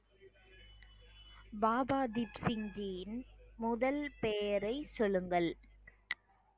பாபா தீப் சிங் ஜியின் முதல் பெயரை சொல்லுங்கள்